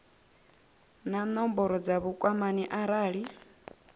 na nomboro dza vhukwamani arali